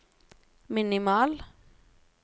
minimal